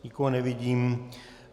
Nikoho nevidím.